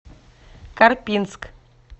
карпинск